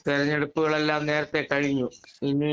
speaker 2 തെരെഞ്ഞെടുപ്പുകളെല്ലാം നേരെത്തെ കഴിഞ്ഞു ഇനി